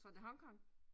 Tror du det Hong Kong?